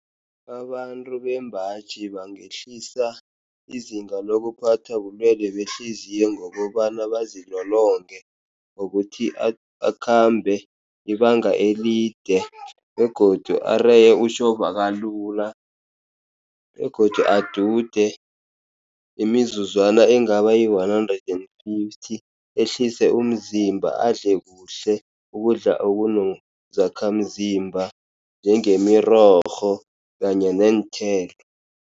Abantu bembaji bangehlisa izinga lokuphathwa bulwele behliziyo, ngokobana bazilolonge ngokuthi akhambe ibanga elide, begodu areye utjhovakalula, begodu adude imizuzwana engaba yi-one hundred and fifty ehlise umzimba. Adle kuhle ukudla okunezakhamzimba njengemirorho kanye neenthelo.